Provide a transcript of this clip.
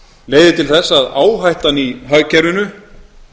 leiðir til þess að áhættan í hagkerfinu